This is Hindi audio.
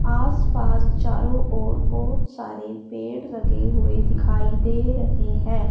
आस पास चारों ओर बहुत सारे पेड़ लगे हुए दिखाई दे रहे हैं।